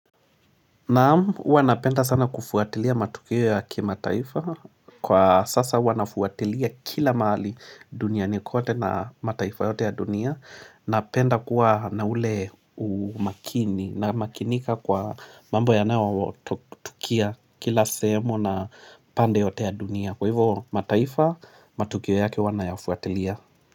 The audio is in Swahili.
Naam, huwanapenda sana kufuatilia matukio ya kimataifa kwa sasa huwa nafuatilia kila mahali duniani kote na mataifa yote ya dunia Napenda kuwa na ule umakini na makinika kwa mambo yanao tukia kila semu na pande yote ya dunia Kwa hivyo mataifa, matukio yake huwa nayafuatilia.